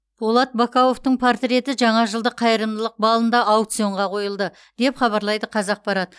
болат бакауовтың портреті жаңа жылдық қайырымдылық балында аукционға қойылды деп хабарлайды қазақпарат